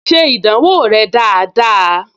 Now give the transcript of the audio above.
Ṣe ìdánwò rẹ dáadáa!